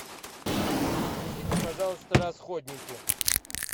принесите пожалуйста расходники